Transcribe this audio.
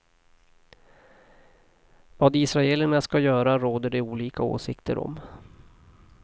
Vad israelerna ska göra råder det olika åsikter om.